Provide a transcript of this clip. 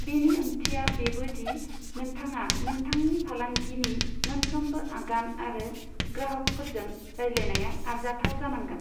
बेनि ओंथिया बेबो दि नोंथाङा नोंथांनि फालांगिनि मोनफ्रोमबो आगान आरो ग्राहफोरजों रायज्लायनाया आरजाथाव जानांगोन।